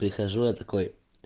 прихожу я такой